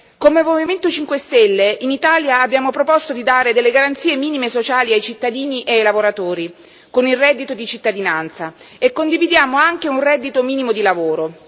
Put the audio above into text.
Come Movimento 5 Stelle, in Italia abbiamo proposto di dare delle garanzie minime sociali ai cittadini e ai lavoratori con il reddito di cittadinanza, e condividiamo anche un reddito minimo di lavoro.